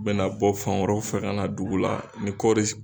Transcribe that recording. U bɛna bɔ fan wɛrɛw fɛ ka na dugu la ni kɔɔri